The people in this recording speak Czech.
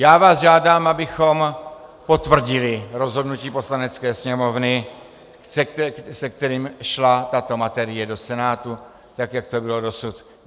Já vás žádám, abychom potvrdili rozhodnutí Poslanecké sněmovny, se kterým šla tato materie do Senátu, tak jak to bylo dosud.